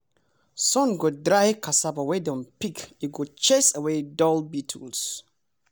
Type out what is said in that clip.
sun dey dry cassava wey dem don pick e go chase away dull beetles.